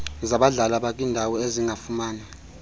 zabadlali abakwindawo ezingafumani